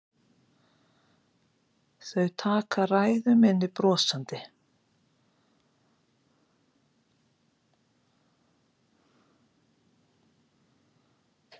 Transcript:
Þau taka ræðu minni brosandi.